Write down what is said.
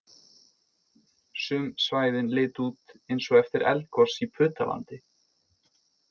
Sum svæðin litu út eins og eftir eldgos í Putalandi